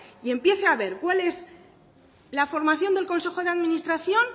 y empiece a ver cuál es la formación del consejo de administración